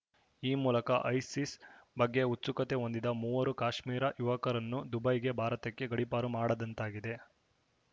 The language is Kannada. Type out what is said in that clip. ಈ ಮೂಲಕ ಐಸಿಸ್‌ ಬಗ್ಗೆ ಉಚ್ಚು ಕತೆ ಹೊಂದಿದ ಮೂವರು ಕಾಶ್ಮೀರ ಯುವಕರನ್ನು ದುಬೈಗೆ ಭಾರತಕ್ಕೆ ಗಡೀಪಾರು ಮಾಡಿದಂತಾಗಿದೆ